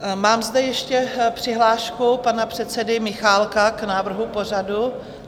Mám zde ještě přihlášku pana předsedy Michálka k návrhu pořadu.